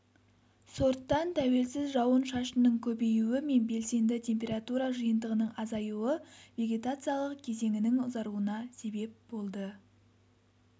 сорттан тәуелсіз жауын-шашынның көбеюі мен белсенді температура жиынтығының азаюы вегетациялық кезеңінің ұзаруына себеп болды